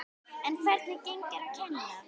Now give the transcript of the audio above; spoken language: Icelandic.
En hvernig gengur að kenna?